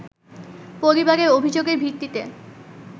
পরিবারের অভিযোগের ভিত্তিতে